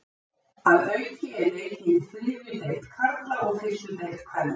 Að auki er leikið í þriðju deild karla og fyrstu deild kvenna.